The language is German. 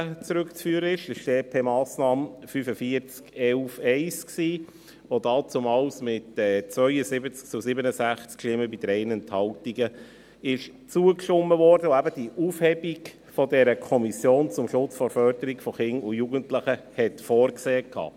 Es geht um die EP-Massnahme 45.11.1, die damals mit 72 zu 67 Stimmen bei 3 Enthaltungen angenommen wurde und die Aufhebung dieser KKJ vorsah.